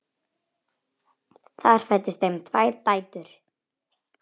Þar fæddust þeim tvær dætur.